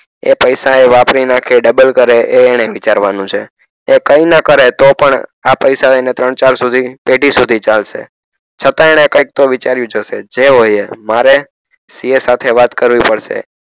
એ પૈસા એ વાપરી નાખે ડબલ કરે એ એણે વિચારવાનું છે એ કઈ ના કરે તો પણ આ પૈસા એને ત્રણ ચાર સુધી પેઢી સુધી ચાલસે છતાં એણે કઈક તો વિચાર્યુજ હશે જે હોય એ મારે CA સાથે વાત કરવી પડસે